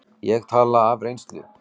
Ég tala af reynslu.